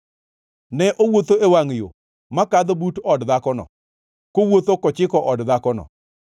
Ne owuotho e wangʼ yo makadho but od dhakono, kowuotho kochiko od dhakono,